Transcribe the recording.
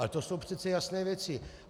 Ale to jsou přece jasné věci.